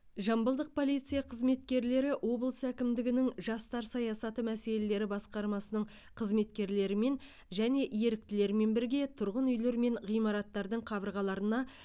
жамбылдық полиция қызметкерлері облыс әкімдігінің жастар саясаты мәселелері басқармасының қызметкерлерімен және еріктілермен бірге тұрғын үйлер мен ғимараттардың қабырғаларына